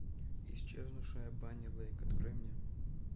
исчезнувшая банни лейк открой мне